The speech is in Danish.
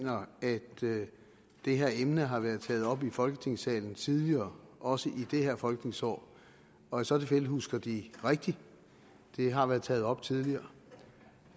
mener at det her emne har været taget op i folketingssalen tidligere også i det her folketingsår og i så fald husker de rigtigt det har været taget op tidligere